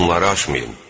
Bunları aşmayın.